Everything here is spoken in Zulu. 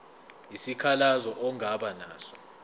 isikhalazo ongaba naso